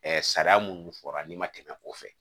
sariya minnu fɔra n'i ma tɛmɛ o fɛ